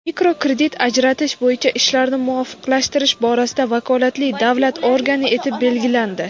mikrokredit ajratish bo‘yicha ishlarni muvofiqlashtirish borasida vakolatli davlat organi etib belgilandi.